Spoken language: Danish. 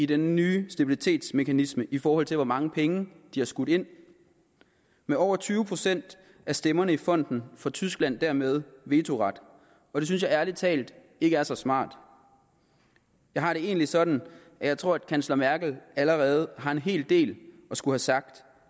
den nye stabilitetsmekanisme i forhold til hvor mange penge de har skudt ind med over tyve procent af stemmerne i fonden får tyskland dermed vetoret og det synes jeg ærlig talt ikke er så smart jeg har det egentlig sådan at jeg tror at kansler merkel allerede har en hel del at skulle sagt